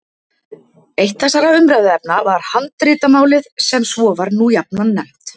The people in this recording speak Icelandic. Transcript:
Eitt þessara umræðuefna var handritamálið sem svo var nú jafnan nefnt.